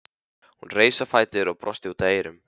Hún reis á fætur og brosti út að eyrum.